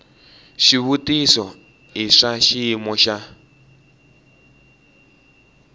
xivutiso i swa xiyimo xa